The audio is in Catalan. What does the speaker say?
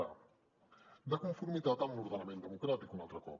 a de conformitat amb l’ordenament democràtic un altre cop